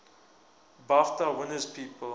bafta winners people